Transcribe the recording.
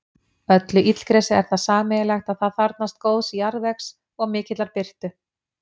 Öllu illgresi er það sameiginlegt að það þarfnast góðs jarðvegs og mikillar birtu.